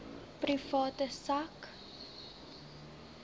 private sak